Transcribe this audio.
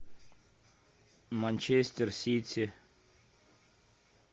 манчестер сити